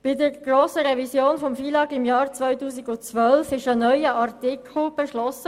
Bei der grossen Revision des FILAG im Jahr 2012 wurde ein neuer Artikel beschlossen.